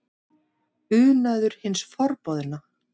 Unaður hins forboðna?